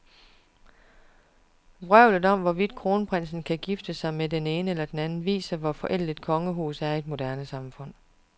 Vrøvlet om, hvorvidt kronprinsen kan gifte sig med den ene eller den anden, viser, hvor forældet et kongehus er i et moderne samfund.